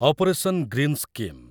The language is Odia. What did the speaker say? operation greens scheme